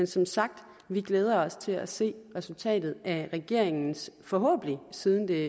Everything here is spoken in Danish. som sagt glæder vi os til at se resultatet af regeringens forhåbentlig siden det